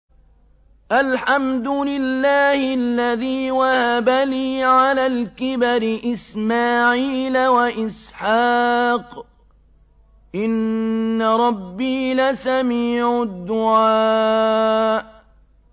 الْحَمْدُ لِلَّهِ الَّذِي وَهَبَ لِي عَلَى الْكِبَرِ إِسْمَاعِيلَ وَإِسْحَاقَ ۚ إِنَّ رَبِّي لَسَمِيعُ الدُّعَاءِ